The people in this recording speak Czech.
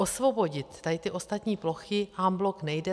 Osvobodit tady ty ostatní plochy en bloc nejde.